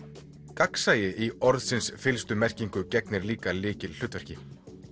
gagnsæi í orðsins fyllstu merkingu gegnir líka lykilhlutverki